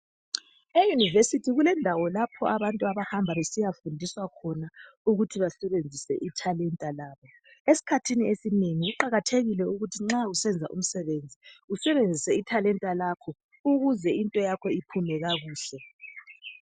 Euniversity kulendawo lapho abantu abahamba besiyafundiswa khona ukuthi besebenzise ithalenta labo . Esikhathini esinengi kuqakathekile ukuthi nxa usenza umsebenzi . Usebenzise ithalenta lakho ukuze into yakho iphume kakuhle .